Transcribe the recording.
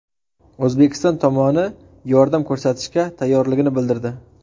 O‘zbekiston tomoni yordam ko‘rsatishga tayyorligini bildirdi.